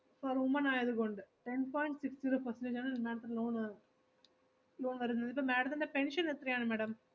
ഇപ്പൊ woman ആയത് കൊണ്ട് ten point six zero percentage ആണ് madam ത്തിന് loan വരു~ loan വരുന്നത്. ഇപ്പോ madam ത്തിന്റെ pension എത്ര ആണ് madam